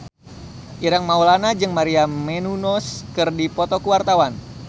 Ireng Maulana jeung Maria Menounos keur dipoto ku wartawan